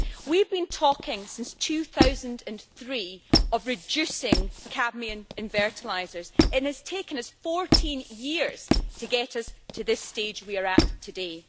We have been talking since 2003 of reducing cadmium in fertilisers and it has taken us 14 years to get us to the stage we are at today.